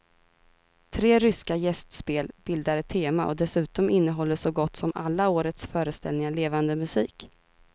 Tre ryska gästspel bildar ett tema och dessutom innehåller så gott som alla årets föreställningar levande musik.